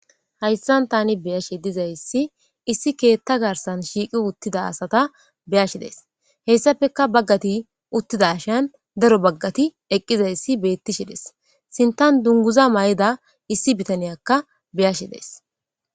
hayssan tani beyashe dizayssi issi keetta garsan shiiqi uttida asata beyashi dees heyssafeka baggati uttida ashan daro baggati eqqizayssi beetti shides sintan dunguza may7ida issi bitaniyakka beyashi dees